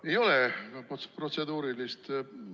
Ei ole protseduurilist küsimust.